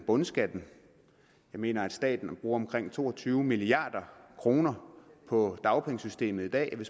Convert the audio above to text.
bundskatten jeg mener at staten bruger omkring to og tyve milliard kroner på dagpengesystemet i dag vi